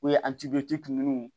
O ye minnu